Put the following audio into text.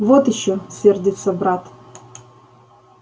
вот ещё сердится брат